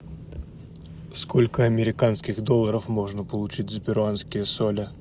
сколько американских долларов можно получить за перуанские соли